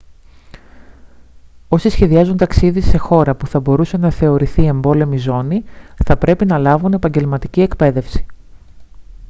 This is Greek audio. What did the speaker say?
όσοι σχεδιάζουν ταξίδι σε χώρα που θα μπορούσε να θεωρηθεί εμπόλεμη ζώνη θα πρέπει να λάβουν επαγγελματική εκπαίδευση